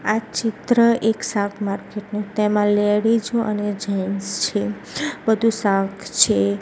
આ ચિત્ર એક શાક માર્કેટ નુ તેમાં લેડીઝો અને જેન્ટસ છે બધુ શાક છે.